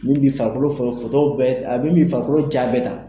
Min bɛ farikolo fɔ, foto bɛɛ a bɛ min farikolo diya bɛɛ ta.